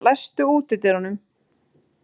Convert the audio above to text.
Sigjón, læstu útidyrunum.